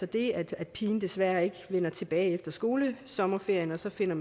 det at at pigen desværre ikke vender tilbage efter skolesommerferien og så finder